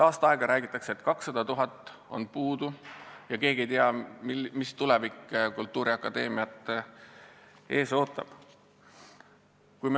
Aasta aega on räägitud, et 200 000 eurot on puudu, ja keegi ei tea, mis tulevik kultuuriakadeemiat ees ootab.